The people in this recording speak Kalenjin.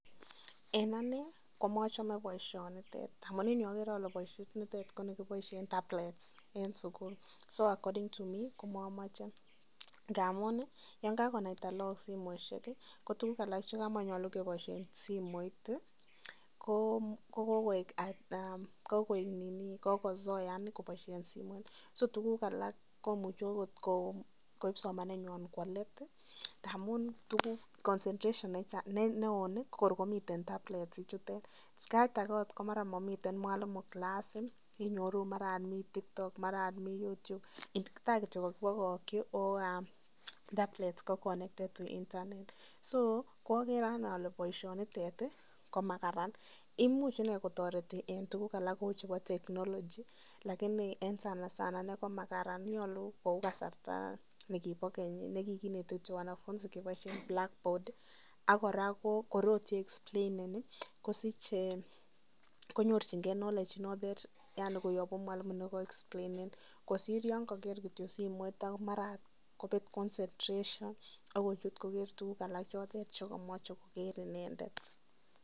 Eng' anee komochome boishonitet amun en yuu okere olee boishonitet ko nekiboishen tablets en sukul so according to me komomoche ng'amun yoon kakonaita lokok simoishek ko tukuk alak chekamanyalu keboishen simoit ko kokoik ninii kokosoean koboishen simoit, so tukuk alak komuche okot koib somanenywan kwoo leet amun tukuk concentration newo ko kor komiten tablet ichutet, sait akee akot komara momiten mwalimu kilas inyoru maran komii tiktok maran mii oot taa kityok kokibokokyi ko tablet ko connected internet, so ko okere anee olee boishonitet komakaran, imuch inee kotoreti en tukuk alak cheuu chebo technology lakinii en sana sana ineii ko makaran, nyolu kouu kasarta nekibo keny nekikinete kityok wanafunzi keboishen blackboard ak kora kor ii expleinen konyorching'e knowledge notet yani koyobu mwalimu akine nee kaa expleinen kosir yoon koker kityok simoit ako maran okot kobet concentration akochut koker tukuk alak chekomoche koker inendet.